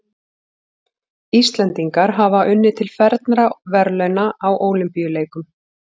Íslendingar hafa unnið til fernra verðlauna á Ólympíuleikum.